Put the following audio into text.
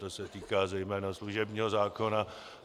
To se týká zejména služebního zákona.